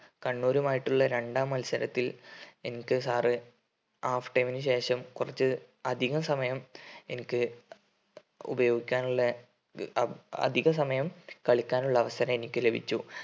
കണ്ണൂരുമായിട്ടുള്ള രണ്ടാം മത്സരത്തിൽ എനിക്ക് sir half time ന് ശേഷം കുറച്ച് അധികസമയം എനിക്ക് ഉപയോഗിക്കാനുള്ള അ അധിക സമയം കളിക്കാനുള്ള അവസരം എനിക്ക് ലഭിച്ചു